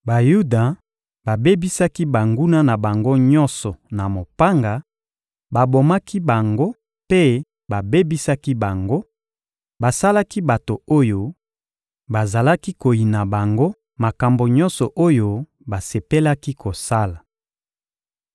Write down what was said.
Bayuda babebisaki banguna na bango nyonso na mopanga, babomaki bango mpe babebisaki bango; basalaki bato oyo bazalaki koyina bango makambo nyonso oyo basepelaki kosala.